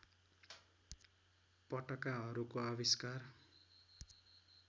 पटकाहरूको आविष्कार